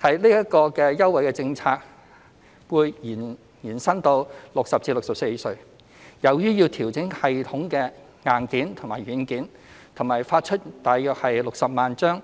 這項優惠政策會延伸至60歲至64歲人士，由於要調整系統的硬件和軟件及發出大約60萬張